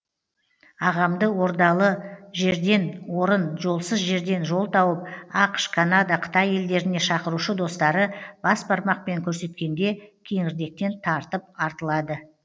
ағамды ордалы жерден орын жолсыз жерден жол тауып ақш канада қытай елдеріне шақырушы достары бас бармақпен көрсеткенде кеңірдектен тартып артылады